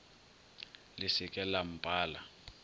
le se ke la mpala